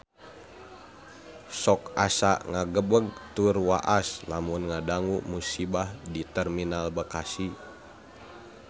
Sok asa ngagebeg tur waas lamun ngadangu musibah di Terminal Bekasi